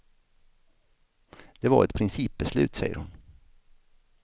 Det var ett principbeslut, säger hon.